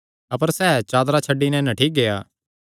अपर सैह़ चादरा छड्डी नैं नंगा नठ्ठी गेआ